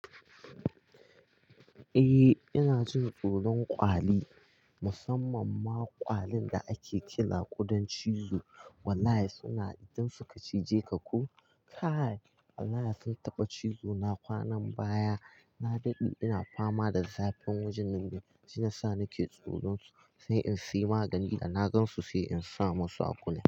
Eh ina jin tsoron kwali. Musamman ma kwalin da ake kira ƙudan cizo. Wallahi suna idan su ka cije ka ko kai. Wallahi sun taɓa cizo na kwanan baya. Na daɗe ina fama da zafin wajen nan da jina sa nake tsoron su sai in sayi magani da na gansu sai in sa musu a kula.